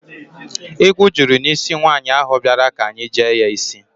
Igwu juru n'isi nwaanyị ahụ bịara ka anyị jee ya isj